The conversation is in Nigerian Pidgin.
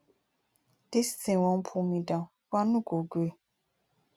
dis thing wan pull me down but i no go gree